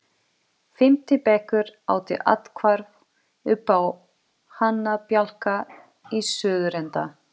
Fimmti bekkur átti athvarf uppá hanabjálka í suðurenda